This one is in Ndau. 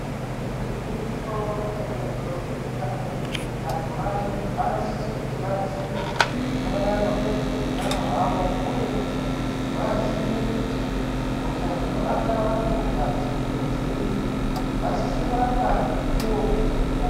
Igwinyiso remene ntombi kana kuti madzimai vanosisa kuti vaziye maererano ngezveutano hwavo uye kuti vaziye kuti hosha dzinobata vantukadzi ngedziri vasise kurapwa mukuwo uchiripo.